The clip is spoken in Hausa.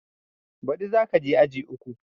Ba ɗi za ka je aji uku